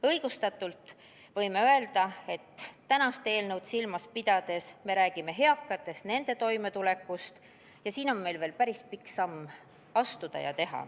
Õigustatult võime öelda, et tänast eelnõu silmas pidades me räägime eakatest, nende toimetulekust ja siin on meil veel päris pikk samm astuda.